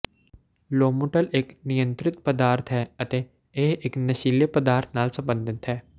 Lomotil ਇਕ ਨਿਯੰਤਰਿਤ ਪਦਾਰਥ ਹੈ ਅਤੇ ਇਹ ਇਕ ਨਸ਼ੀਲੇ ਪਦਾਰਥ ਨਾਲ ਸਬੰਧਤ ਹੈ